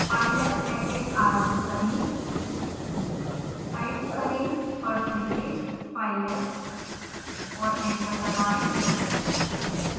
pylab package आरंभ करें